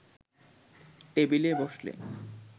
টেবিলে বসলে